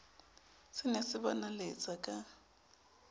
se ne se bonaletsa ka